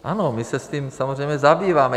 Ano, my se s tím samozřejmě zabýváme.